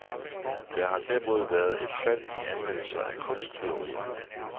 Der har derimod været et fald i anmeldelser af kunsttyverier.